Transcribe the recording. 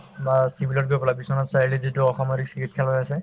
বা civil ত গৈ পেলাই বিশ্বনাথ চাৰিআলিত যিটো অসামৰিক চিকিৎসালয় আছে